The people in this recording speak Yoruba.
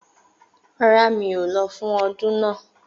Rárá, mi ò lọ fún ọdún náà